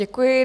Děkuji.